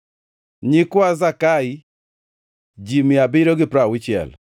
nyikwa Zakai, ji mia abiriyo gi piero auchiel (760),